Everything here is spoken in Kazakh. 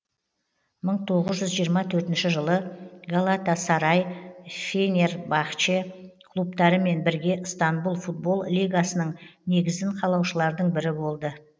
мың тоғыз жүз жиырма төртінші жылы галатасарай фенербахче клубтарымен бірге ыстанбұл футбол лигасының негізін қалаушылардың бірі болды